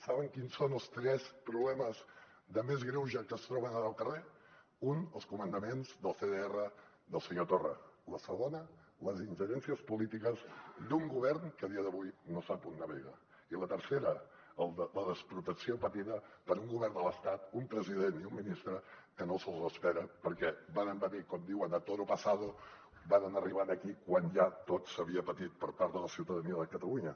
saben quins són els tres problemes més greus que es troben ara al carrer un els comandaments dels cdr del senyor torra el segon les ingerències polítiques d’un govern que a dia d’avui no sap on navega i el tercer la desprotecció patida per un govern de l’estat un president i un ministre que no se’ls espera perquè varen venir com diuen a toro pasado varen arribar aquí quan ja tot ho havia patit la ciutadania de catalunya